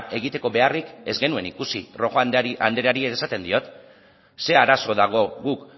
egiteko beharrik ez genuen ikusi rojo andreari ere esaten diot zer arazo dago guk